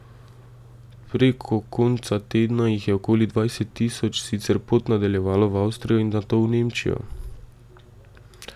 Preko konca tedna jih je okoli dvajset tisoč sicer pot nadaljevalo v Avstrijo in nato v Nemčijo.